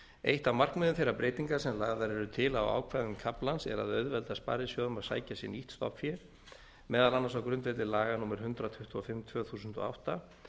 eitt af markmiðum þeirra breytinga sem lagðar eru til á ákvæðum kaflans er að auðvelda sparisjóðum að sækja sér nýtt stofnfé meðal annars á grundvelli laga númer hundrað tuttugu og fimm tvö þúsund og átta